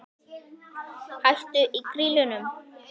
Hætt í Grýlunum?